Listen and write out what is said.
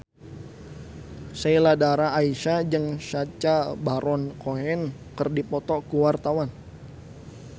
Sheila Dara Aisha jeung Sacha Baron Cohen keur dipoto ku wartawan